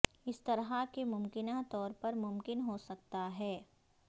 اس طرح کے ممکنہ طور پر ممکن ہو سکتا ہے